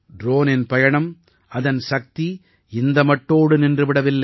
ட்ரோனின் பயணம் அதன் சக்தி இந்த மட்டோடு நின்று விடவில்லை